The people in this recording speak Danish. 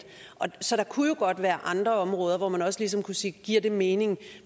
så der kunne jo godt være andre områder hvor man også ligesom kunne sige giver det mening